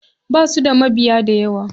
Basu da mabiya dayawa.